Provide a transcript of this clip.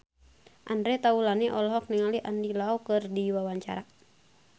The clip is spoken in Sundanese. Andre Taulany olohok ningali Andy Lau keur diwawancara